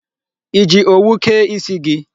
I ji owu kee isi gị?